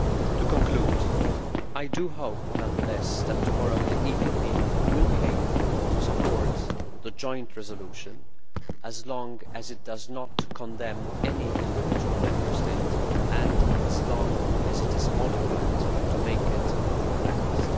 To conclude, I do hope nonetheless that tomorrow, the EPP will be able to support the joint resolution as long as it does not condemn any individual Member State and as long as it is modified to make it more balanced.